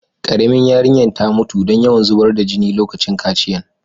Karemin yarinyan ta mutu dan yawn zubar da jina lokacin kaciyan.